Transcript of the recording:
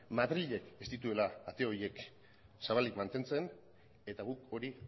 madrilek ez dituela ate horiek zabalik mantentzen eta guk hori